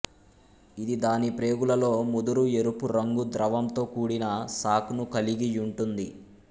ఇది దాని ప్రేగులలో ముదురు ఎరుపు రంగు ద్రవంతో కూడిన సాక్ ను కలిగి యుంటుంది